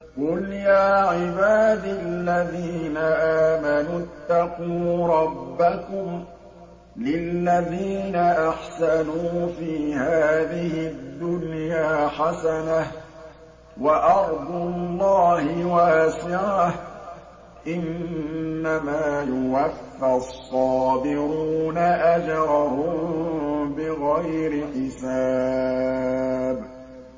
قُلْ يَا عِبَادِ الَّذِينَ آمَنُوا اتَّقُوا رَبَّكُمْ ۚ لِلَّذِينَ أَحْسَنُوا فِي هَٰذِهِ الدُّنْيَا حَسَنَةٌ ۗ وَأَرْضُ اللَّهِ وَاسِعَةٌ ۗ إِنَّمَا يُوَفَّى الصَّابِرُونَ أَجْرَهُم بِغَيْرِ حِسَابٍ